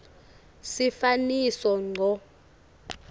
sifaniso ngco